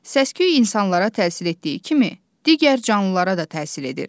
Səs-küy insanlara təsir etdiyi kimi, digər canlılara da təsir edir.